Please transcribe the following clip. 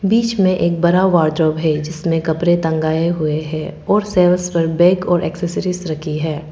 बीच में एक बड़ा वार्डरोब है जिसमें कपड़े टंगाये हुए है और और एक्सेसरीज रखी है।